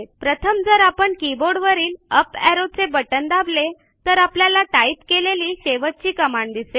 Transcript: प्रथम जर आपण कीबोर्डवरील अप एरो चे बटण दाबले तर आपल्याला टाईप केलेली शेवटची कमांड दिसेल